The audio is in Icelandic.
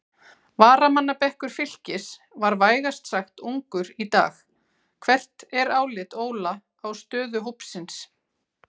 Varamannabekkur Fylkis var vægast sagt ungur í dag, hvert er álit Óla á stöðu hópsins?